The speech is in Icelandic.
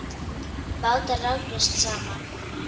Bátar rákust saman